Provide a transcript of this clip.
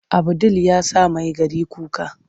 Abu ɗil ya sa Maigari kuka.